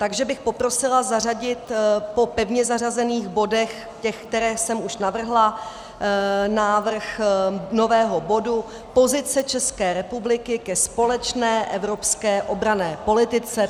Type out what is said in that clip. Takže bych poprosila zařadit po pevně zařazených bodech, těch, které jsem už navrhla, návrh nového bodu Pozice České republiky ke společné evropské obranné politice.